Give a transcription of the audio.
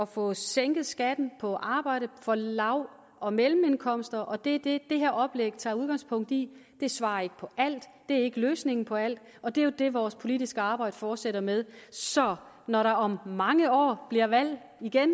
få sænket skatten på arbejde for lav og mellemindkomster og det er det det her oplæg tager udgangspunkt i det svarer ikke på alt det er ikke løsningen på alt og det er jo det vores politiske arbejde fortsætter med så når der om mange år bliver valg igen